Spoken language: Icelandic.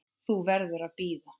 Þú verður að bíða.